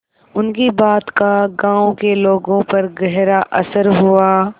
उनकी बात का गांव के लोगों पर गहरा असर हुआ